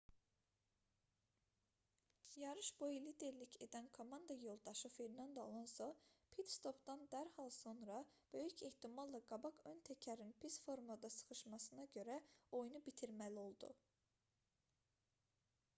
yarış boyu liderlik edən komanda yoldaşı fernando alonso pit-stopdan dərhal sonra böyük ehtimalla qabaq ön təkərin pis formada şıxışmasına görə oyunu bitirməli oldu